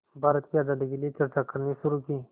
भारत की आज़ादी के लिए चर्चा करनी शुरू की